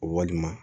Walima